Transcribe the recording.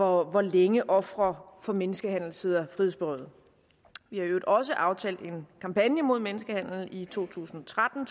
hvor længe ofre for menneskehandel sidder frihedsberøvet vi har i øvrigt også aftalt en kampagne mod menneskehandel i to tusind og tretten